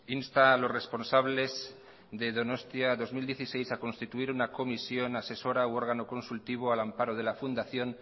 insta a los responsables de donostia dos mil dieciséis a constituir una comisión asesora u órgano consultivo al amparo de la fundación